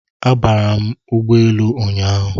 Abara m ụgbọ elu ụnyahụ